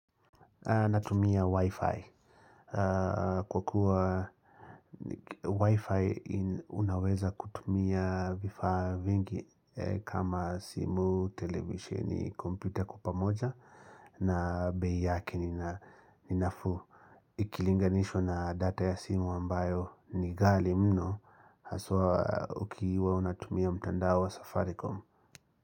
Natumia Wi-Fi. Kwa kuwa Wi-Fi unaweza kutumia vifaa vingi kama simu, televisheni ni kompyuta kwa pamoja na bei yake ninafuu. Ikilinganishwa na data ya simu ambayo ni ghali mno haswa ukiwa unatumia mtandao wa safaricom.